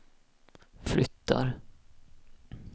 flyttar